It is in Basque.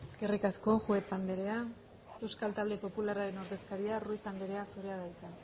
eskerrik asko juez anderea euskal talde popularraren ordezkaria ruiz anderea zurea da hitza